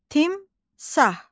Timsah.